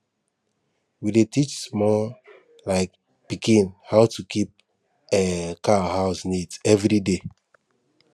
we dey teach small um pikin how to keep um cow house neat every day